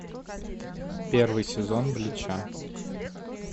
первый сезон блича